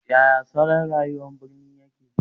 Yaya salon rayuwar birni yake?